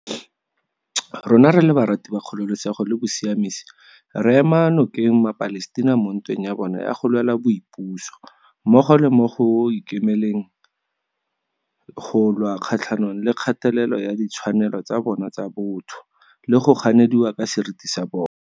Rona re le barati ba kgololesego le bosiamisi re ema no keng maPalestina mo ntweng ya bona ya go lwela boipuso, mmogo le mo go ikemele leng go lwa kgatlhanong le kgatelelo ya ditshwanelo tsa bona tsa botho le go ganediwa ka seriti sa bona.